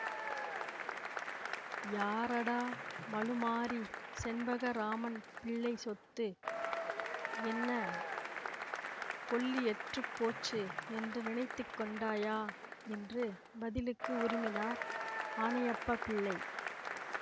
யாரடா மழுமாறி செண்பகராமன் பிள்ளை சொத்து என்ன கொள்ளியற்றுப் போச்சு என்று நினைத்துக்கொண்டாயா என்று பதிலுக்கு உறுமினார் ஆனையப்ப பிள்ளை